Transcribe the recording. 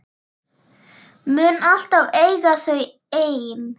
Mun alltaf eiga þau ein.